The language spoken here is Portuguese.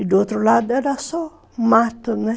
E do outro lado era só mato, né?